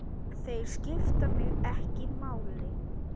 Þeir skipta mig ekki máli.